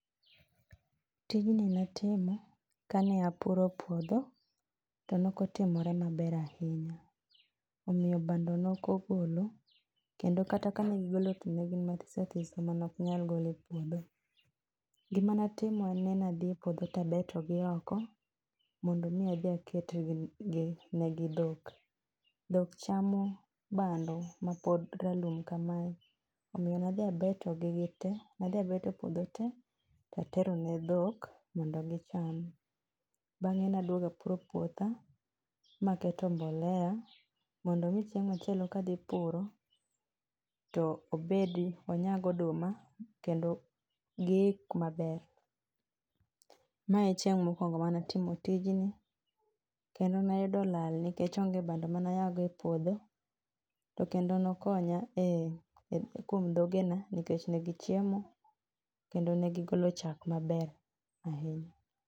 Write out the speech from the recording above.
Tijni natimo, ka ne apuro puodho, to nok otimore maber ahinya. Omiyo bando nokogolo, kendo kata ka ne gigolo to ne gin mathisothiso ma ne ok nyal gol e puodho. Gima natimo en ni nadhi e puodho tabeto gi oko, mondo mi adhi aket gi ne gi dhok. Dhok chamo bando mapod ralum kamae. Omiyo nadhi abeto gi gitee nadhi abeto puodho te tatero ne dhok mondo gicham. Bang'e naduogo apuro puotha, maketo mbolea mondo mi chineg' machielo kadhipuro, to obedi onyag oduma kendo giik maber. Mae e chieng' mokwongo manatimo tijni, kendo nayudo lal nikech onge bando manayago e puodho. To kendo nokonya e e kuom dhogena nikech negichiemo, kendo negigolo chak maber ahinya